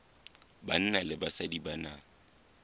banna le basadi ba na